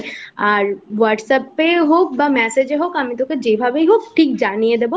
আর whatsapp এ হোক বা message এ হোক যেভাবেই হোক ঠিক জানিয়ে দেব